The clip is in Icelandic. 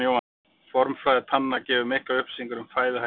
Formfræði tanna gefur miklar upplýsingar um fæðuhætti dýra.